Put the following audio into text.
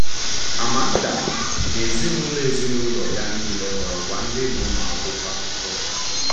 Amanda na ezinụlọ ezinụlọ ya niile ghọrọkwa Ndị N’ụmụakwụkwọ Akụkọ.